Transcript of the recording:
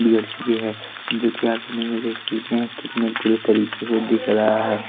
बिगड़ चुके हैं जो कि आप इमेज में देख सकते हैं कितने बुरे तरीके से दिख रहा है ।